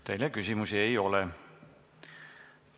Teile küsimusi ei ole.